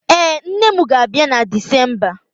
Ee, nne m ga-abịa na Disemba